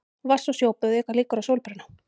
Vatns- og sjóböð auka líkur á sólbruna.